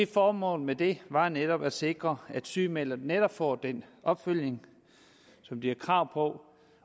formålet med det var netop at sikre at sygemeldte netop får den opfølgning som de har krav på